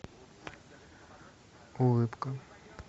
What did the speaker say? улыбка